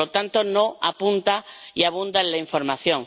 Por lo tanto, no apunta y abunda en la información.